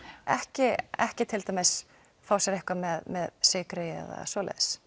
ekki ekki til dæmis fá sér eitthvað með sykri eða svoleiðis